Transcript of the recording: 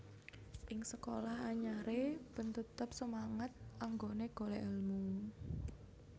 Ing sekolah anyare ben tetep semangat anggone golek elmu